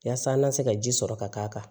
Yaasa an ka se ka ji sɔrɔ ka k'a kan